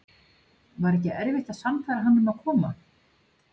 Var ekki erfitt að sannfæra hann um að koma?